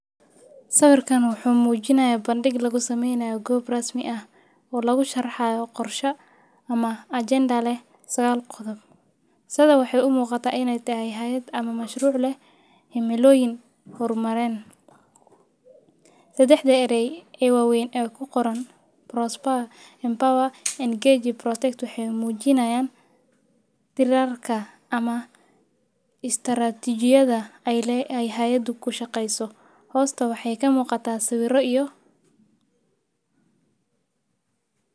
Sawirkan wuxuu mujinaya bandig lagusameynayo mel casri ah oo lagusharaxayo , qorsha ama agenda leh sagal qodob. Sida waxay umuqatah in ay tahay hayad ama mashruc leh himiloyin hormaren , sedaxda erey ee waweyn kuqoran prosper, empower, engage, protect waxay mujinayan riradka ama istirajiyada ay hayada kushaqeyso , hosta waa kamuqdah sawiro iyo.